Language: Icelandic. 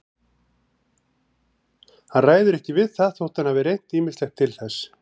Hann ræður ekki við það þótt hann hafi reynt ýmislegt til þess.